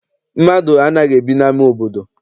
Mmadụ anaghị ebi n'ama obodo.